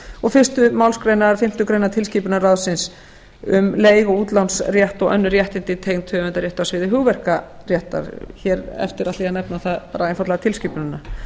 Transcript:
og fyrstu málsgrein eða fimmtu grein tilskipunarráðsins um leiguútlánsrétt og önnur réttindi tengd höfundarrétti á sviði hugmyndaréttar hér eftir ætla ég að nefna það einfaldlega tilskipunina